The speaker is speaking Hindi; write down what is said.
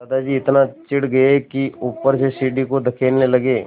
दादाजी इतना चिढ़ गए कि ऊपर से सीढ़ी को धकेलने लगे